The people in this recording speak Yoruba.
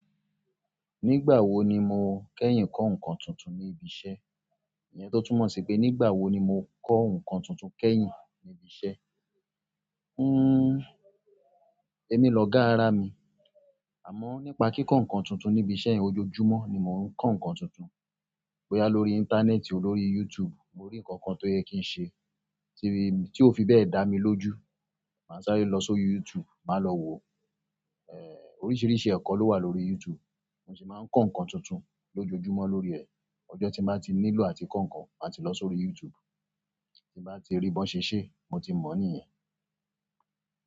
Nígbà wo ni mo kẹ́yìn kọ́ nǹkan tuntun ní ibi iṣẹ́? Ìyẹn tó tún mọ̀ sí pé nígbà wo ni mo kọ́ nǹkan tuntun kẹ́yìn ní ibi iṣẹ́? Hmm, èmi lọ gá ará mi. Àmọ́ nípa kíkọ́ nǹkan tuntun ní ibi iṣẹ́ ojoojúmọ́ ni mò ń kọ́ nǹkan tuntun. Bo ya lórí íńtánẹ́ẹ̀tì olórí YouTube mo rí nǹkan kan tó yẹ kí n ṣe, tí ó fi bẹ́ẹ̀ dá mi lójú. Màá sáré lọ sórí YouTube, màá lọ wo. Èè, oríṣiríṣi ẹ̀kọ́ ló wà lórí YouTube. Mo sì máa ń kọ́ nǹkan tuntun lójoojúmọ́ lórí ẹ̀. Ọjọ́ tí mo bá ti nílò àti kọ́ nǹkan, màá ti lọ sórí YouTube. Tí mo bá ti rí bí wọ́n ṣe ń ṣe é, mo ti mọ̀ níìyẹn.